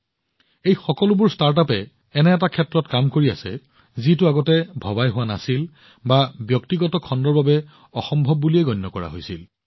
এই সকলোবোৰ ষ্টাৰ্টআপে এনে এক ধাৰণাৰ ওপৰত কাম কৰি আছে যাক প্ৰথমতে ভবা হোৱা নাছিল বা ব্যক্তিগত খণ্ডৰ বাবে অসম্ভৱ বুলি গণ্য কৰা হৈছিল